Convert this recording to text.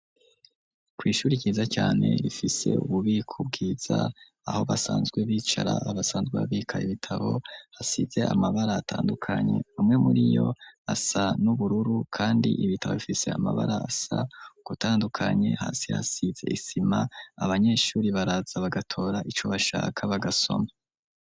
Ku ishure ryiza cane rifise ububiko bwiza aho basanzwe bicara abasanzwe babika ibitabo hasize amabara atandukanye amwe muri yo asa n'ubururu kandi ibitabo bifise amabara asa gutandukanye hasi hasize isima abanyeshure baraza bagatora ico bashaka bagasoma.